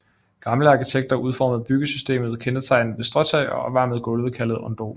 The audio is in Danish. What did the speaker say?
Gamle arkitekter udformede byggesystemet kendetegnet ved stråtag og opvarmede gulve kaldet ondol